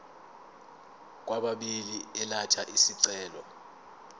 kwababili elatha isicelo